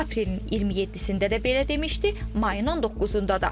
Aprelin 27-də də belə demişdi, mayın 19-da da.